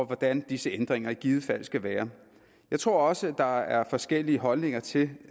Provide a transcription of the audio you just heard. hvordan disse ændringer i givet fald skal være jeg tror også at der er forskellige holdninger til